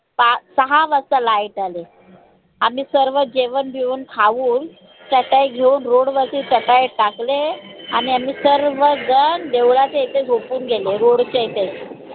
साहा वाजता light आले. आम्ही सर्व जेवन बिवन खाऊन चटई घेऊन road वरती चटई टाकले आणि आम्ही सर्व झन देवळाच्या इथे झोपून गेलो road च्या इथं